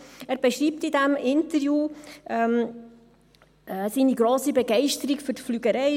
Er beschreibt in diesem Interview seine grosse Begeisterung für die Fliegerei.